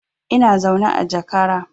Ina zaune a jakara